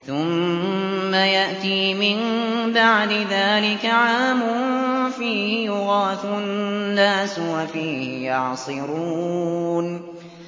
ثُمَّ يَأْتِي مِن بَعْدِ ذَٰلِكَ عَامٌ فِيهِ يُغَاثُ النَّاسُ وَفِيهِ يَعْصِرُونَ